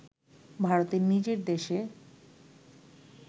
“ভারতের নিজের দেশে